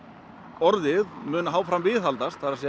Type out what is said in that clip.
orðið mun áfram viðhaldast það er